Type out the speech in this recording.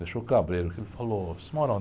Deixou cabreiro, porque ele falou, você mora onde?